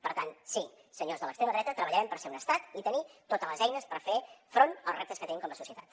per tant sí senyors de l’extrema dreta treballarem per ser un estat i tenir totes les eines per fer front als reptes que tenim com a societat